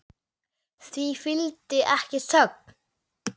Því fylgdi ekki þögn.